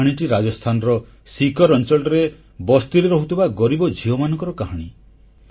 କାହାଣୀଟି ରାଜସ୍ଥାନର ସିକର ଅଂଚଳର ବସ୍ତିରେ ରହୁଥିବା ଗରିବ ଝିଅମାନଙ୍କର କାହାଣୀ